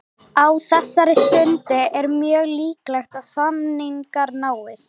Á þessari stundu er mjög líklegt að samningar náist.